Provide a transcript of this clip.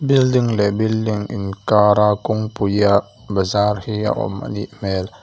building leh building inkar a kawngpuiah bazar hi a awm anih hmel.